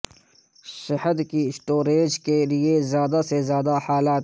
شہد کی سٹوریج کے لئے زیادہ سے زیادہ حالات